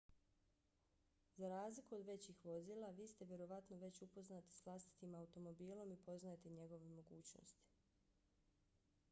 za razliku od većih vozila vi ste vjerovatno već upoznati s vlastitim automobilom i poznajete njegove mogućnosti